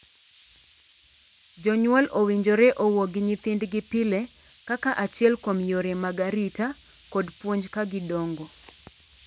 Jonyuol owinjore owuo gi nyithindgi pile kaka achiel kuom yore mag arita kod puonj ka gidongo.